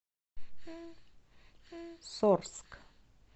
сорск